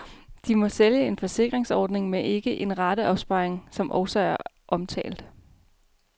De må sælge en forsikringsordning men ikke en rateopsparing, som også er omtalt.